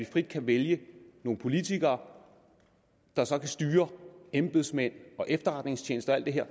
frit kan vælge nogle politikere der så kan styre embedsmænd og efterretningstjeneste og alt det her